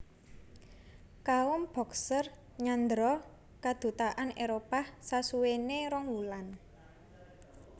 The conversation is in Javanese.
Kaum Boxer nyandhera kadutaan Éropah sasuwene rong wulan